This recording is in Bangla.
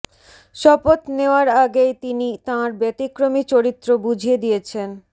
শপথ নেওয়ার আগেই তিনি তাঁর ব্যতিক্রমী চরিত্র বুঝিয়ে দিয়েছেন